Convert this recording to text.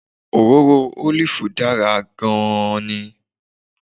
Òróró ólìfù dára gan-an ni